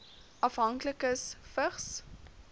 afhanklikes vigs